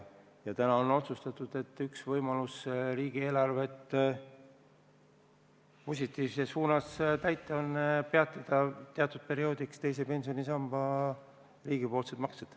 Ja täna on otsustatud, et üks võimalus riigieelarvet täita on peatada teatud perioodiks teise pensionisamba riigipoolsed maksed.